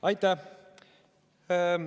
Aitäh!